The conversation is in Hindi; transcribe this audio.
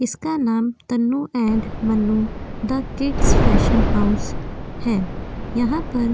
इसका नाम Tannu and Mannu the kids fashion house है। यहाँ पर --